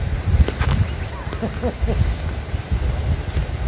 ха-ха та ладно что там